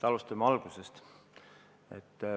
Alustame algusest.